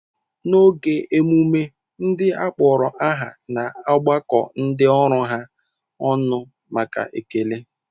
N'oge emume, ndị akpọrọ aha na-agbakọ ndị ọrụ ha ọnụ maka ekele.